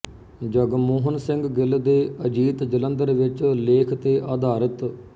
ਜਗਮੋਹਨ ਸਿੰਘ ਗਿਲ ਦੇ ਅਜੀਤ ਜਲੰਧਰ ਵਿੱਚ ਲੇਖ ਤੇ ਆਧਾਰਿਤ